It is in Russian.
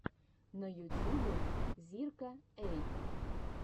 на ютубе зирка эй